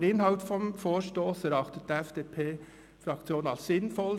Den Inhalt des Vorstosses erachtet die FDP-Fraktion als sinnvoll.